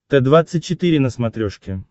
т двадцать четыре на смотрешке